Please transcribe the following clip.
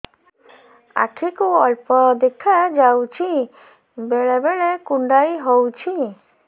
ଆଖି କୁ ଅଳ୍ପ ଦେଖା ଯାଉଛି ବେଳେ ବେଳେ କୁଣ୍ଡାଇ ହଉଛି